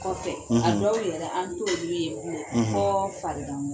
Kɔfɛ; ; a dɔw yɛrɛ an t'olu ye blen; fɔ farikan